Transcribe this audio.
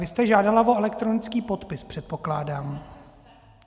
Vy jste žádala o elektronický podpis, předpokládám.